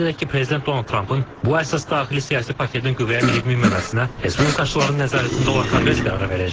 Qeyd edək ki, Prezident Donald Trampın bu əsas daxili siyasi paketin qüvvəyə minib-minməməsinə respublikaçıların nəzarətində olan Konqres qərar verəcək.